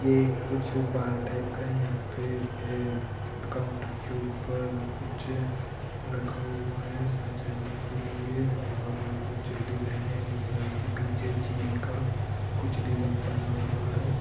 ये कुछ bar type का है यहाँ पे काउंटर के ऊपर कुछ रखा हुआ है सजाने के लिए और कुछ डिजाइन ब्लू कलर की पीछे चील का कुछ डिजाइन बना हुआ है।